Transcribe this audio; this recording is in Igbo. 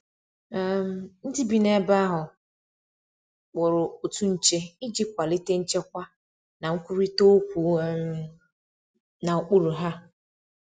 um Ndi bi n'ebe ahu kpụrụ otụ nche ịjị kwalite nchekwa na nkwụrita okwu um na okpụrụ ha